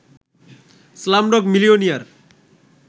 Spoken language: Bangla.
Slumdog Millionaire